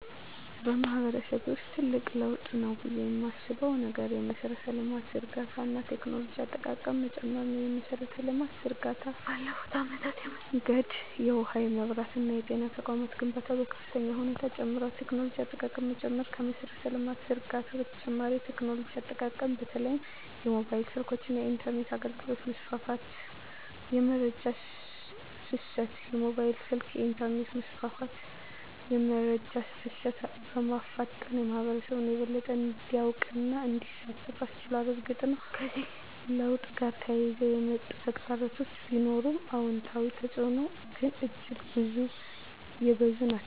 በማህበረሰቤ ውስጥ ትልቅ ለውጥ ነው ብዬ የማስበው ነገር የመሠረተ ልማት ዝርጋታ እና የቴክኖሎጂ አጠቃቀም መጨመር ነው። የመሠረተ ልማት ዝርጋታ ባለፉት አመታት የመንገድ፣ የውሃ፣ የመብራት እና የጤና ተቋማት ግንባታ በከፍተኛ ሁኔታ ጨምሯል። የቴክኖሎጂ አጠቃቀም መጨመር ከመሠረተ ልማት ዝርጋታ በተጨማሪ የቴክኖሎጂ አጠቃቀም በተለይም የሞባይል ስልኮች እና የኢንተርኔት አገልግሎት መስፋፋት። * የመረጃ ፍሰት: የሞባይል ስልክና የኢንተርኔት መስፋፋት የመረጃ ፍሰትን በማፋጠን ህብረተሰቡ የበለጠ እንዲያውቅና እንዲሳተፍ አስችሏል። እርግጥ ነው፣ ከዚህ ለውጥ ጋር ተያይዘው የሚመጡ ተግዳሮቶች ቢኖሩም፣ አዎንታዊ ተፅዕኖዎቹ ግን እጅግ የበዙ ናቸው።